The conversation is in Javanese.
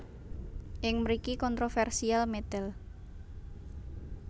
Ing mriki kontroversial medal